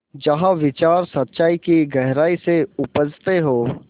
जहाँ विचार सच्चाई की गहराई से उपजतें हों